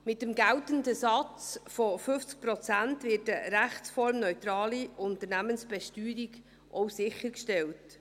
Mit dem geltenden Satz von 50 Prozent wird auch eine rechtsformneutrale Unternehmensbesteuerung sichergestellt.